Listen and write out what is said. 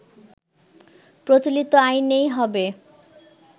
প্রচলিত আইনেই হবে